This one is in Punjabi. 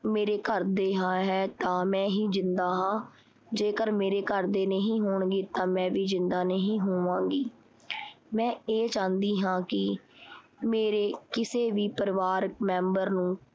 ਮੇਰੇ ਘਰਦੇ ਦੇ ਹਾਂ ਹੈ ਤਾਂ ਮੈਂ ਹੀ ਜਿੰਦਾ ਹਾਂ, ਜੇਕਰ ਮੇਰੇ ਘਰਦੇ ਜਿੰਦਾ ਨਹੀਂ ਹੋਣਗੇ ਤਾਂ ਮੈਂ ਵੀ ਜਿੰਦਾ ਨਹੀਂ ਹੋਵਾਂਗੀ। ਮੈਂ ਇਹ ਚਾਂਦੀ ਹੈ ਕੀ ਮੇਰੇ ਕਿਸੇ ਵੀ ਪਰਿਵਾਰਕ ਮੇਂਬਰ ਨੂੰ